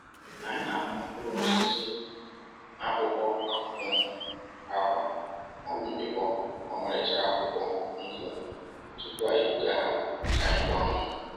Anyị na-akpa mkpụrụ osisi n'akpụkpọ akwụkwọ, akwa, ma ọ bụ mpịkpọ ọmarịcha akwụkwọ nkwụ tupu anyị ebuga ha ka anyị gbanwee.